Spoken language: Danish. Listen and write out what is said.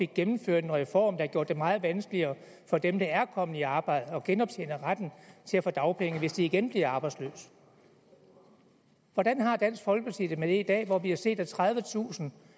gennemført en reform der har gjort det meget vanskeligere for dem der er kommet i arbejde at genoptjene retten til at få dagpenge hvis de igen bliver arbejdsløse hvordan har dansk folkeparti det med det i dag hvor vi har set at tredivetusind